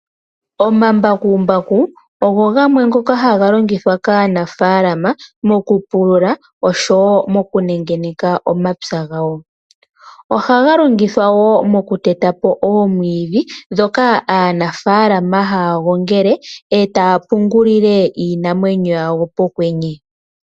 Omambakumbaku ogo gamwe ngoka haga longithwa kaanafaalama mokupulula osho wo mokunengeneka omapya gawo. Ohaga longithwa wo mokuteta po oomwiidhi ndhoka aanafaalama haya gongele etaya pungulile iinamwenyo yawo pokwenye.